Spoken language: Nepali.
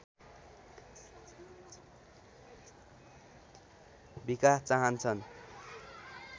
विकास चाहन्छन्